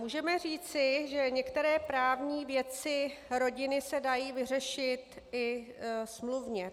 Můžeme říci, že některé právní věci rodiny se dají vyřešit i smluvně.